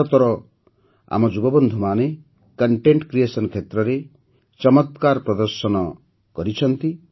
ଭାରତର ଆମ ଯୁବବନ୍ଧୁମାନେ କଣ୍ଟେଣ୍ଟ କ୍ରିଏସନ କ୍ଷେତ୍ରରେ ଚମକ୍ରାର ପ୍ରଦର୍ଶନ କରିଛନ୍ତି